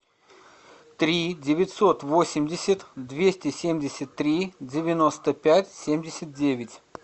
три девятьсот восемьдесят двести семьдесят три девяносто пять семьдесят девять